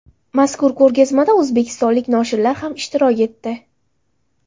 Mazkur ko‘rgazmada o‘zbekistonlik noshirlar ham ishtirok etdi.